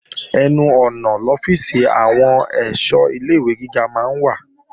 Ẹnu ọ̀nà lọ́fíìsì àwọn èṣọ́ ilé-ìwé gíga máa ń wà